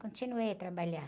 Continuei a trabalhar.